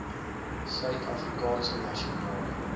suid afrikaanse nasionale